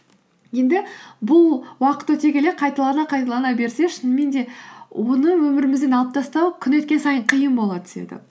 енді бұл уақыт өте келе қайталана қайталана берсе шынымен де оны өмірімізден алып тастау күн өткен сайын қиын бола түседі